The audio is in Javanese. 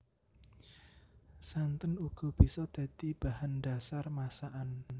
Santen uga bisa dadi bahan dhasar masakan